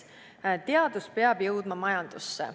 Esiteks, teadus peab jõudma majandusse.